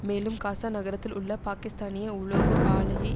மேலும் காசா நகரத்தில் உள்ள பாகிஸ்தானிய உலோக ஆலையை